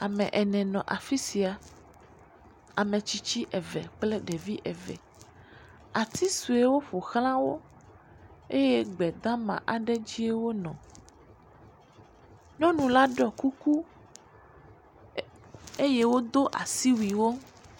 Ame ene nɔ afi sia, ametsitsi eve kple ɖevi eve, ati suewo ƒoxla wo eye gbedama aɖe dzi wonɔ, nyɔnu la ɖɔ kuyku eye wodo asiwuiwo.